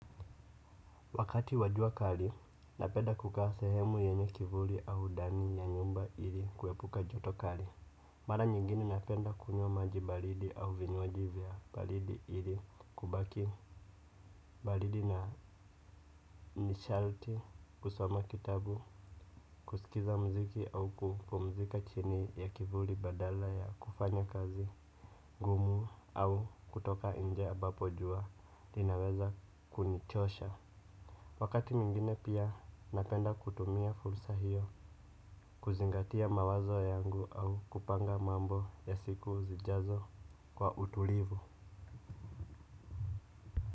Wakati wa jua kali, napenda kukaa sehemu yenye kivuli au ndani ya nyumba ili kuepuka joto kali. Mara nyingine napenda kunywa maji baridi au vinywaji vya baridi ili kubaki baridi na ni shalti kusoma kitabu, kusikiza mziki au kupumzika chini ya kivuli badala ya kufanya kazi, ngumu au kutoka nje ambapo jua, inaweza kunichosha. Wakati mwingine pia napenda kutumia fulsa hiyo kuzingatia mawazo yangu au kupanga mambo ya siku zijazo kwa utulivu.